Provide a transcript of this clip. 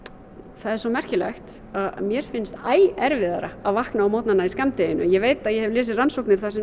það er svo merkilegt að mér finnst æ erfiðara að vakna á morgnana í skammdeginu ég veit að ég hef lesið rannsóknir sem